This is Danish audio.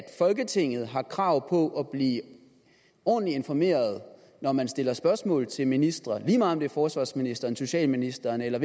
folketinget har krav på at blive ordentligt informeret når man stiller spørgsmål til ministre lige meget om det er forsvarsministeren socialministeren eller